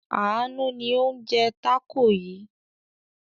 Àánú ni ó ń jẹ tákò yìí.